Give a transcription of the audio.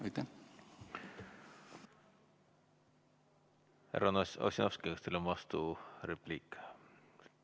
Härra Ossinovski, kas teil on vasturepliik?